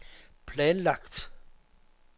planlagt